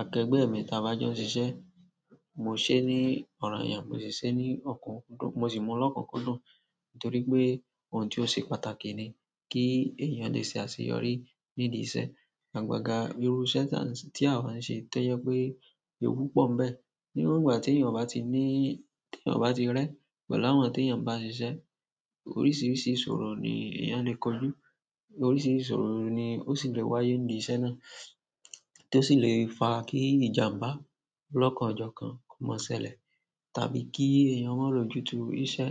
akẹgbẹ́ mi ta bá jọ ń ṣisé. Mo ṣẹ́ ní ọ̀rànyàn, mo sì ṣẹ́ ní ọ̀kọ̀ọ̀kan, mo sì mu ni okunkundun. Nítorí pé òun tí ó se pàtàkì ni kí ènìyàn lè ṣe àṣeyọrí nídìí iṣẹ́. Àgbagà irú iṣẹ̀ tí a ti a wa ń ṣe ti oje pe ewu po mbẹ́. Iru ìgbà ti eyan o ba ti ni ti eyan o ba ti re, pẹ̀lú àwọn teyan ba sise, oríṣiríṣi ìṣòro ni eyan le koju, oríṣiríṣi ìṣòro ni osi le wa ye ni ile iṣẹ́ náà tó sì lè fa kí ìjàǹbá lọ́kọ̀ọ̀jọ̀kan ko má ṣẹlẹ̀, tàbí kí èèyàn mo lọ́jútu iṣẹ́.